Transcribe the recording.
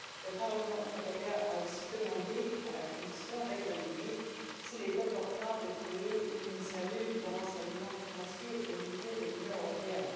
Le Parlement européen a aussi demandé à la Commission d'examiner s'il est opportun de créer une cellule de renseignement financier au niveau de l'Union européenne.